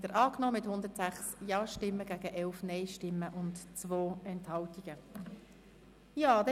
Sie haben auch diesen Antrag der BaK mit 106 Ja- gegen 11 Nein-Stimmen bei 2 Enthaltungen angenommen.